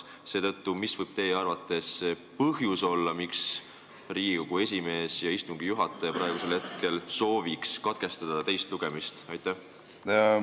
Seetõttu, mis võib teie arvates olla see põhjus, miks Riigikogu esimees ja istungi juhataja sooviks praegu teist lugemist katkestada?